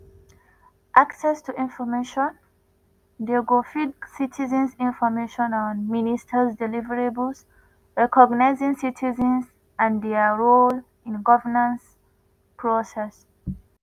access to information:di go feed citizens information on ministers deliverables recognising citizens and dia role in governance process.